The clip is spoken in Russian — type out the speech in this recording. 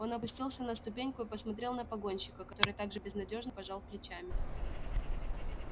он опустился на ступеньку и посмотрел на погонщика который так же безнадёжно пожал плечами